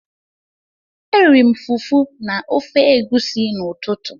Eriri m fufu na ofe egusi n'ụtụtụ.